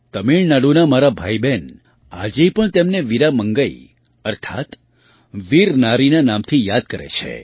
તમિળનાડુનાં મારાં ભાઈબહેન આજે પણ તેમને વીરા મંગઈ અર્થાત્ વીર નારીના નામથી યાદ કરે છે